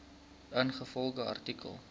ingevolge artikel